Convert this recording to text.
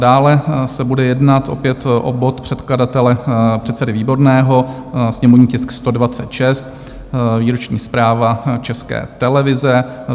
Dále se bude jednat opět o bod předkladatele předsedy Výborného, sněmovní tisk 126, výroční zpráva České televize.